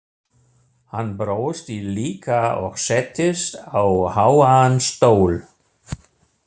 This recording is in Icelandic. Hann brosti líka og settist á háan stól.